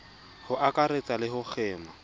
ho akaretsa le ho kgema